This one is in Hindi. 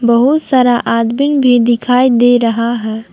बहुत सारा आदमीन भी दिखाई दे रहा है।